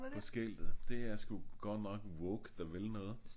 På skiltet. Det er sgu godt nok woke der vil noget